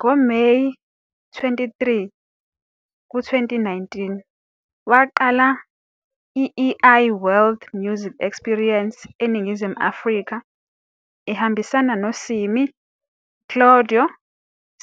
Ngo-May 23, 2019, waqala i-El World Music Experience eNingizimu Afrika, ehambisana noSimmy, Claudio,